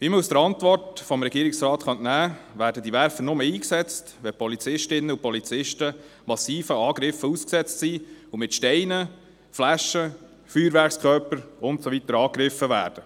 Wie man der Antwort des Regierungsrates entnehmen kann, werden diese Werfer nur eingesetzt, wenn Polizistinnen und Polizisten massiven Angriffen ausgesetzt sind und mit Steinen, Flaschen, Feuerwerkskörpern und so weiter angegriffen werden.